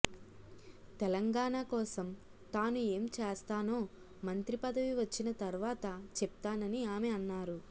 తెలంగాణ కోసం తాను ఏం చేస్తానో మంత్రి పదవి వచ్చిన తర్వాత చెప్తానని ఆమె అన్నారు